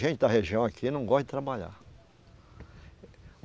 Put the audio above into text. Gente da região aqui não gosta de trabalhar.